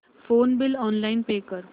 phone bill online pay कर